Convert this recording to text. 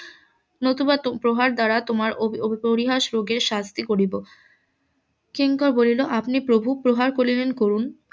নতুবা প্রহার দ্বারা তোমার পরিহাস রোগের শাস্তি করিব কিঙ্কর বলিল আপনি প্রভু প্রহার করিবেন করুন